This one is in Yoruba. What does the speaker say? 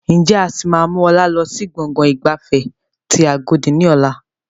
Ǹjẹ́ a sì máa mú ọlá lọ sí gbọ̀ngàn ìgbafẹ́ tí agodi ni ọ̀la?